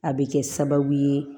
A bɛ kɛ sababu ye